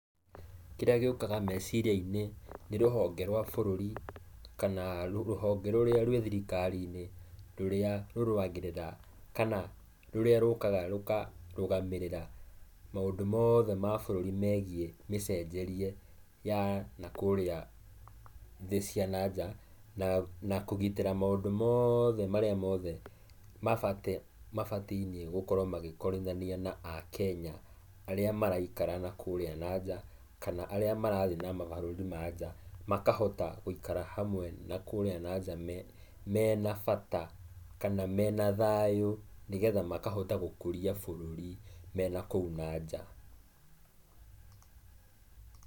Kĩrĩa gĩũkaga meciria-inĩ nĩ rũhonge rwa bũrũri kana rũhonge rũrĩa rwĩ thirikari-inĩ rũrĩa rũrũagĩrĩra kana rũrĩa rũkaga rũkarũgamĩrĩra maũndũ mothe ma bũrũri megiĩ mecenjerie na kũrĩa thĩ cia na nja na kũgitĩra maũndũ mothe marĩa mothe mabatiĩne mabatiĩne gũkũrwo kũrithania na aKenya arĩa maraikara na kũrĩa na nja kana arĩa marathiĩ na mabũrũri ma nja mahota gũikara hamwe na kũrĩa na nja mena bata kana mena thayũ nĩgetha makahota gũkũria bũruri mena kũu na nja.